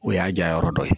O y'a jayɔrɔ dɔ ye